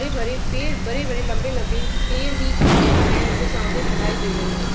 हरे-भरे पेड़ बड़े-बड़े लम्बे पेड़ भी हैं जो सामने दिखाई दे रहे हैं।